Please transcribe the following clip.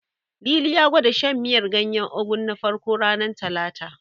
Lili ya gwada shan miyar ganyen Ugu na farko, ranar Talata.